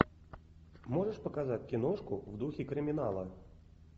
можешь показать киношку в духе криминала